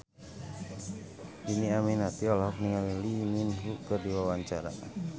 Dhini Aminarti olohok ningali Lee Min Ho keur diwawancara